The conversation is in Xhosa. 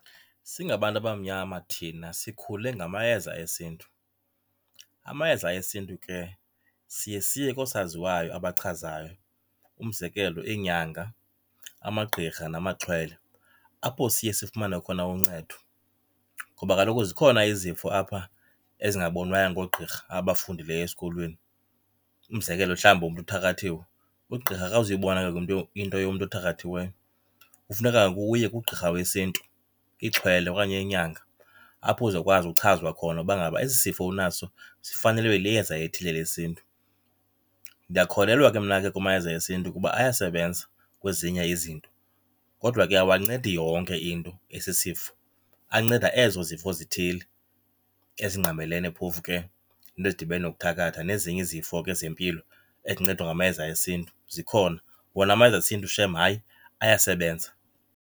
Singabantu abamnyama thina sikhule ngamayeza esiNtu. Amayeza esiNtu ke siye siye koosaziwayo abachazayo, umzekelo iinyanga, amagqirha namaxhwele, apho siye sifumane khona uncedo. Ngoba kaloku zikhona izifo apha ezingabonwayo ngoogqirha abafundileyo esikolweni. Umzekelo, mhlawumbi umntu uthakathiwe, ugqirha akazuyibona ke into yomntu othakathiweyo. Kufuneka uye kugqirha wesiNtu, ixhwele okanye inyanga, apho uzawukwazi uchazwa khona uba ngaba esi sifo unaso sifanelwe liyeza elithile lesiNtu. Ndiyakholelwa ke mna ke kumayeza esiNtu kuba ayasebenza kwezinye izinto kodwa ke awancedi yonke into esisifo, anceda ezo zifo zithile ezingqamelene phofu ke neento ezidibene nokuthakatha, nezinye izifo ke zempilo ezincedwa ngamayeza esiNtu zikhona. Wona amayeza esiNtu shem hayi ayasebenza.